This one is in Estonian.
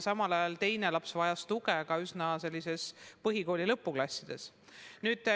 Mõni laps vajas tuge ka põhikooli lõpuklassides.